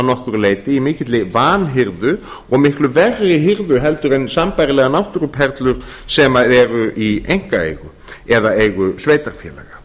nokkru leyti í mikilli vanhirðu og miklu verri hirðu heldur en sambærilegar náttúruperlur sem eru í einkaeigu eða eigu sveitarfélaga